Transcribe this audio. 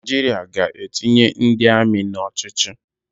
Naịjiria ga-etinye ndị amị n'ochiochi